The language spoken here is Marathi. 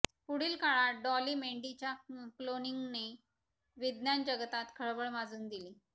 पुढील काळात डॉली मेंढी च्या क्लोनिंगने विज्ञानजगतात खळबळ माजून दिली